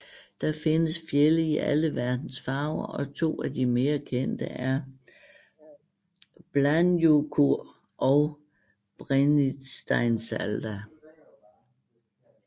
Der findes fjelde i alle verdens farver og to af de mere kendte er Bláhnjúkur og Brennisteinsalda